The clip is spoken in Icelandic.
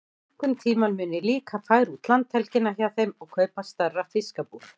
Einhvern tíma mun ég líka færa út landhelgina hjá þeim og kaupa stærra fiskabúr.